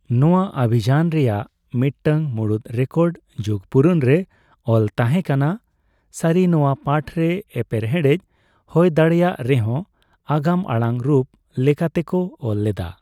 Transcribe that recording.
ᱱᱚᱣᱟ ᱚᱵᱷᱤᱡᱟᱱ ᱨᱮᱭᱟᱜ ᱢᱤᱫᱴᱟᱝ ᱢᱩᱲᱩᱫ ᱨᱮᱠᱚᱨᱰ ᱡᱩᱜᱽ ᱯᱩᱨᱟᱱ ᱨᱮ ᱚᱞ ᱛᱟᱦᱮᱸ ᱠᱟᱱᱟ ᱾ ᱥᱟᱹᱨᱤ, ᱱᱚᱣᱟ ᱯᱟᱴᱷ ᱨᱮ ᱮᱯᱮᱨᱦᱮᱰᱮᱡ ᱦᱳᱭᱫᱟᱲᱮᱹᱭᱟᱜ ᱨᱮᱦᱚᱸ ᱟᱜᱟᱢᱟᱲᱟᱝ ᱨᱩᱯ ᱞᱮᱠᱟ ᱛᱮᱠᱚ ᱚᱞ ᱞᱮᱫᱟ ᱾